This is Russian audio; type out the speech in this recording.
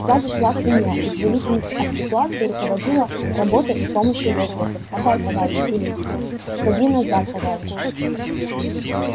сзади шла свинья и в зависимости от ситуации руководила работой с помощью возгласов поддай товарищ или ссади назад товарищ